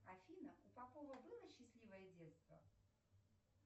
афина у попова было счастливое детство